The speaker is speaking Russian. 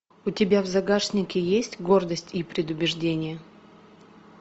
у тебя в загашнике есть гордость и предубеждение